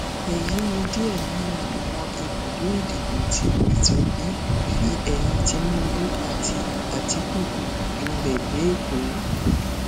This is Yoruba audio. èyí ni díẹ nínú àwọn ibùdó ìdìbò tí pété obi fi eyín tinubu àti àtikukù janlẹ lẹkọọ